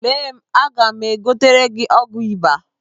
Lee m, aga m egotere gị ọgwụ ịba.